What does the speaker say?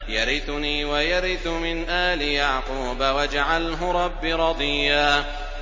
يَرِثُنِي وَيَرِثُ مِنْ آلِ يَعْقُوبَ ۖ وَاجْعَلْهُ رَبِّ رَضِيًّا